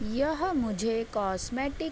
यह मुझे कॉस्मेटिक --